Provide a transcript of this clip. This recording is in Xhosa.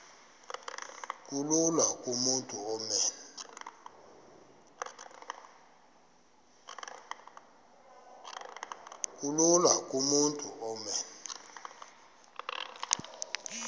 kulula kumntu onen